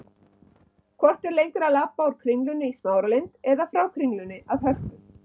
Hvort er lengra að labba úr Kringlunni í Smáralind eða frá Kringlunni að Hörpu?